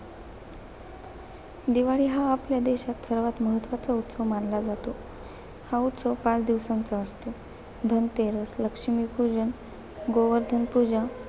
दिवाळी हा आपल्या देशात सर्वात महत्वाचा उत्सव मानला जातो. हा उत्सव पाच दिवसांचा असतो. धनतेरस, लक्ष्मीपूजन, गोवर्धन पूजा,